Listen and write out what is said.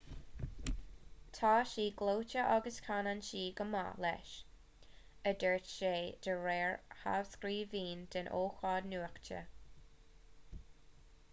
tá sí gleoite agus canann sí go maith leis a dúirt sé de réir thrascríbhinn den ócáid nuachta